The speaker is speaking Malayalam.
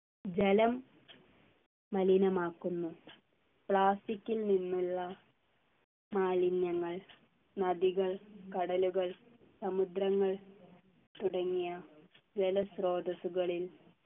ജലം മലിനമാക്കുന്നു plastic ൽ നിന്നുള്ള മാലിന്യങ്ങൾ നദികൾ കടലുകൾ സമുദ്രങ്ങൾ തുടങ്ങിയ ജലസ്രോതസ്സുകളിൽ